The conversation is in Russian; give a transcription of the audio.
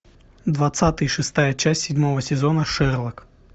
двадцатый шестая часть седьмого сезона шерлок